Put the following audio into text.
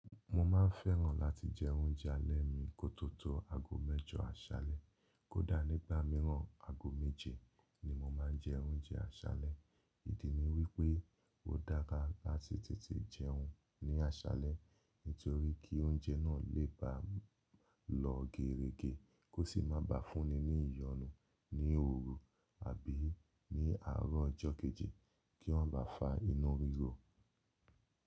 Mo máa ń fẹ́ràn láti jẹ oúnjẹ alẹ́ mi kó tó tó ago mẹ́jọ aṣalẹ̀, kó dá nígbà mìíràn, ago méje ni mo máa ń jẹ oúnjẹ aṣalẹ̀. Ìdí ni wí pé, ó dára láti tètè jẹun ní aṣalẹ̀, nítorí kí oúnjẹ náà lè bà lọ gèrègè, kó sì má bà fún ni ní ìyọnu ní òru àbí ní àárọ̀ ọjọ́ kéjì kí wọ́n bà fá inu ríro.